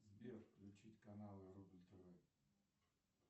сбер включить канал рубль тв